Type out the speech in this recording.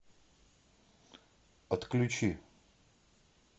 отключи